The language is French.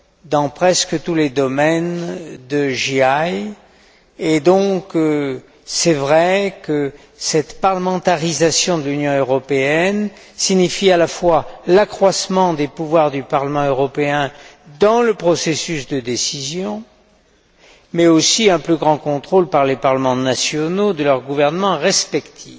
dans presque tous les domaines de JAI, et il est donc vrai que cette parlementarisation de l'Union européenne implique à la fois un accroissement des pouvoirs du Parlement européen dans le processus de décision, mais aussi un plus grand contrôle par les parlements nationaux de leurs gouvernements respectifs.